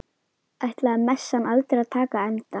Ætlaði messan aldrei að taka enda?